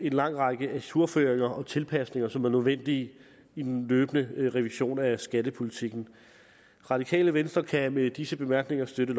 en lang række ajourføringer og tilpasninger som er nødvendige i den løbende revision af skattepolitikken radikale venstre kan med disse bemærkninger støtte